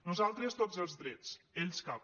nosaltres tots els drets ells cap